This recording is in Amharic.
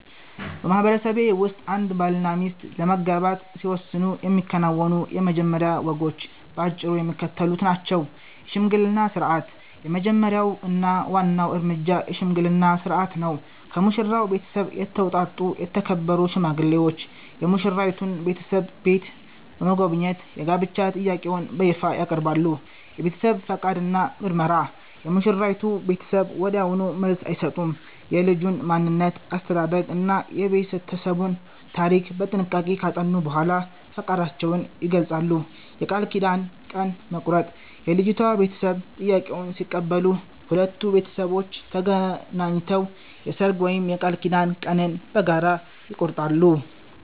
በማህበረሰቤ ውስጥ አንድ ባልና ሚስት ለመጋባት ሲወስኑ የሚከናወኑት የመጀመሪያ ወጎች በአጭሩ የሚከተሉት ናቸው፦ የሽምግልና ሥርዓት፦ የመጀመሪያው እና ዋናው እርምጃ የሽምግልና ሥርዓት ነው። ከሙሽራው ቤተሰብ የተውጣጡ የተከበሩ ሽማግሌዎች የሙሽራይቱን ቤተሰብ ቤት በመጎብኘት የጋብቻ ጥያቄውን በይፋ ያቀርባሉ። የቤተሰብ ፈቃድ እና ምርመራ፦ የሙሽራይቱ ቤተሰብ ወዲያውኑ መልስ አይሰጡም። የልጁን ማንነት፣ አስተዳደግ እና የቤተሰቡን ታሪክ በጥንቃቄ ካጠኑ በኋላ ፈቃዳቸውን ይገልጻሉ። የቃል ኪዳን ቀን መቁረጥ፦ የልጅቷ ቤተሰብ ጥያቄውን ሲቀበሉ፣ ሁለቱ ቤተሰቦች ተገናኝተው የሰርግ ወይም የቃል ኪዳን ቀንን በጋራ ይቆርጣሉ።